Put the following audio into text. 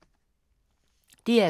DR2